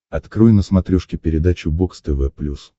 открой на смотрешке передачу бокс тв плюс